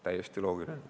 Täiesti loogiline.